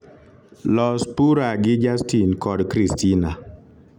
los pura gi justin kod kristina